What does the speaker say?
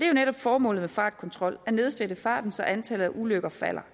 jo netop formålet med fartkontrol at nedsætte farten så antallet af ulykker falder